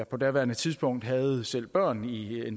på daværende tidspunkt havde jeg selv børn i